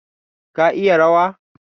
Ka iya rawa?